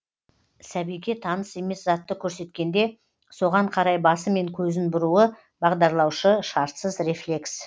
сәбиге таныс емес затты көрсеткенде соған карай басы мен көзін бұруы бағдарлаушы шартсыз рефлекс